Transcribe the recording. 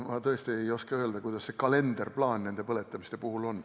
Ma tõesti ei oska öelda, milline nende põletamiste kalenderplaan on.